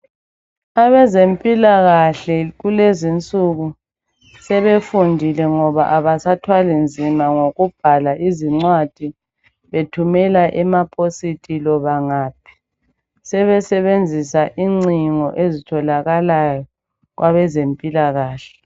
Abezempilakahle kulezi insuku sebefundile ngoba abasathwali nzima ngokubhala izincwadi bethumela emapositi loba ngaphi sebebenzisa ingcingo ezitholakalayo kwabezempilakahle.